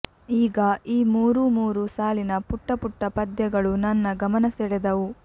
ಆಗ ಈ ಮೂರು ಮೂರು ಸಾಲಿನ ಪುಟ್ಟ ಪುಟ್ಟ ಪದ್ಯಗಳು ನನ್ನ ಗಮನ ಸೆಳೆದವು